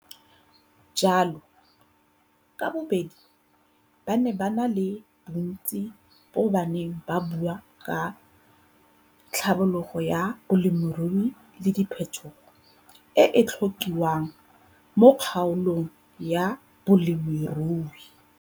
Jalo, ka bobedi ba ne ba na le bontsi bo ba neng ba bo bua ka tlhabololo ya balemirui le phethogo e e tlokiwang mo kgaolong ya bolemirui.